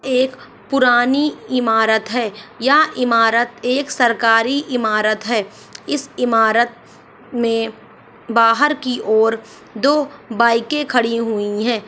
एक पुरानी इमारत है यह इमारत एक सरकारी इमारत है इस ईमारत में बाहर की और दो बाइके खड़ी हुई है।